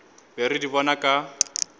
be re di bona ka